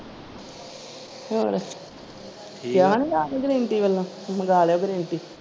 ਹੋਰ ਠੀਕ ਆ ਮੰਗਾਲਿਓ ਘਰੇ .